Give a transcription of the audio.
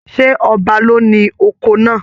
Ṣe ọba ló ní oko náà?